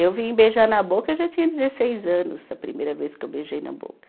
Eu vim beijar na boca, eu já tinha dezesseis anos, a primeira vez que eu beijei na boca.